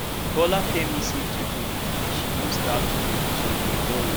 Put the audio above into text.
bola tell me say due to the delay she don start to to dey borrow